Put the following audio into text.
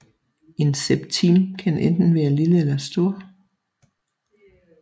En septim kan enten være lille eller stor